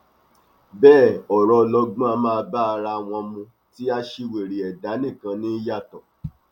bẹẹ ọrọ ọlọgbọn á máa bá ara wọn mu tí aṣiwèrè ẹdá nìkan ní í yàtọ